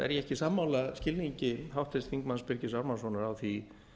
er ég ekki sammála skilningi háttvirtur þingmaður birgis ármannssonar á því